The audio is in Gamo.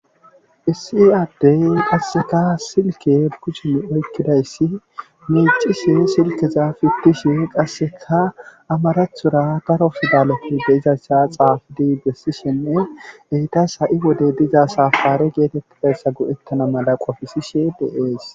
Issi ade qassika silkke kushen oykkidayssi miiccishe silkke xaafettishe qassika amarathora daro pidaleti de7izaza xaafidi bessishenne heytas ha7i wode diza saffare geetetidayssa go7ettana mala qofisishe de7ees.